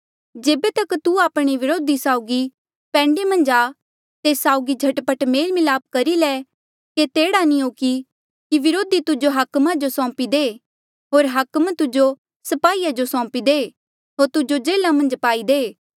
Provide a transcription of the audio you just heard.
जेबे तक तू आपणे व्रोधी साउगी पैंडे मन्झ आ तेस साउगी झट पट मेल मिलाप करी ले केते एह्ड़ा नी हो कि व्रोधी तुजो हाकमा जो सौंपी दे होर हाकम तुजो स्पाहीया जो सौंपी दे होर तुजो जेल्हा मन्झ पाई दे